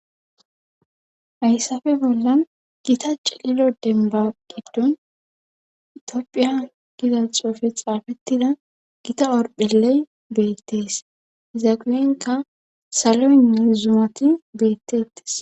Hayssafe bollan gita cililo demba giddun itiopphiya gida xoofe xaafettida gita orpheley beettees izaqulenka saloy nizumati geettettis